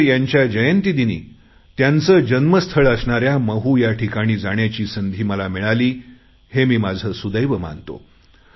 आंबेडकर यांच्या जयंतीदिनी त्यांचे जन्मस्थळ असणाऱ्या महू या ठिकाणी जाण्याची संधी मला मिळाली हे मी माझे सुदैव मानतो